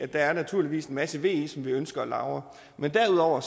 der er naturligvis en masse ve som vi ønsker at lagre men derudover er